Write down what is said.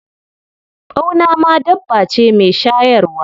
Ɓauna ma dabba ce mai shayarwa.